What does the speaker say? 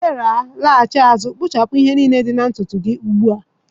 Chidera, laghachi azụ kpuchapụ ihe niile dị na ntutu gị ugbu a.